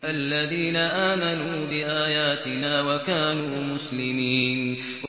الَّذِينَ آمَنُوا بِآيَاتِنَا وَكَانُوا مُسْلِمِينَ